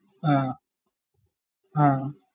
ആഹ് ആഹ്